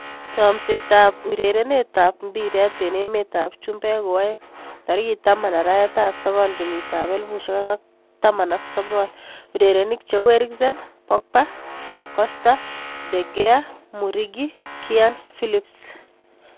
Chomset ab urerenet ab mbiret eng emet ab chumbek koaeng' 10.09.2019: Eriksen, Pogba, Costa, De Gea, Muriqi, Kean, Phillips